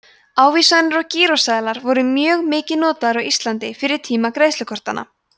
ávísanir og gíróseðlar voru mjög mikið notaðir á íslandi fyrir tíma greiðslukortanna